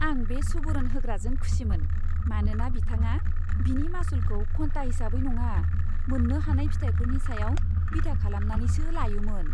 आं बे सुबुरुन होग्राजों खुसिमोन, मानोना बिथाङा बिनि मासुलखौ घन्टा हिसाबै नङा, मोन्नो हानाय फिथायफोरनि सायाव बिथा खालामनानैसो लायोमोन।